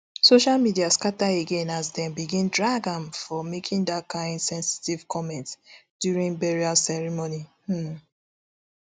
social media scata again as dem begin drag am for making dat kain sensitive comment during burial ceremony um